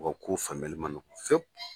U ka kow faamuyali man nɔgɔ fiyɛwu.